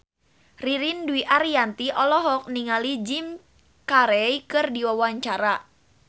Ririn Dwi Ariyanti olohok ningali Jim Carey keur diwawancara